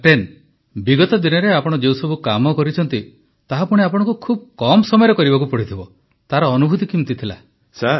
captain ବିଗତ ଦିନରେ ଆପଣ ଯେଉଁ ସବୁ କାମ କରିଛନ୍ତି ତାହା ପୁଣି ଆପଣଙ୍କୁ ଖୁବ କମ ସମୟରେ କରିବାକୁ ପଡ଼ିଛି ତାହାର ଅନୁଭୁତି କିଭଳି ଥିଲା